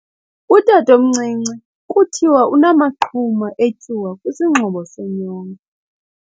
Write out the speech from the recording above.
Utatomncinci kuthiwa unamaqhuma etyuwa kwisingxobo senyongo.